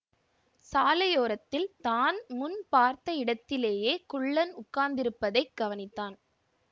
சாலையோரத்தில் தான் முன் பார்த்த இடத்திலேயே குள்ளன் உட்கார்ந்திருப்பதை கவனித்தான்